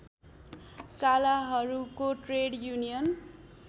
कालाहरूको trade union